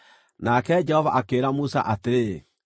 Nake Jehova akĩĩra Musa atĩrĩ,